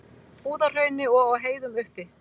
Búðahrauni og á heiðum uppi.